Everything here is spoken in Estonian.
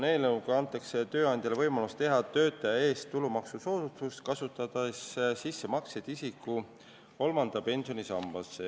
Eelnõuga antakse tööandjale võimalus teha töötajale maksusoodustus, kasutades sissemakseid isiku kolmandasse pensionisambasse.